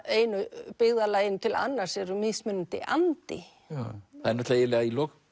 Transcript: einu byggðarlaginu til annars er mismunandi andi í lok